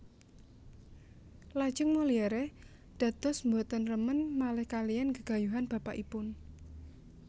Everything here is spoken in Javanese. Lajeng Molière dados boten remen malih kalihan gegayuhan bapakipun